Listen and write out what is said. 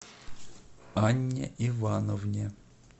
анне ивановне